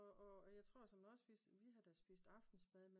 Og og jeg tror som også vi havde da spist aftensmad inden